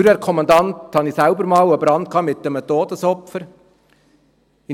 Als Feuerwehrkommandant habe ich selbst einmal einen Brand mit einem Todesopfer erlebt.